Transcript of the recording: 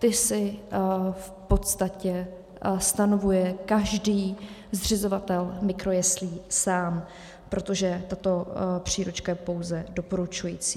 Ty si v podstatě stanovuje každý zřizovatel mikrojeslí sám, protože tato příručka je pouze doporučující.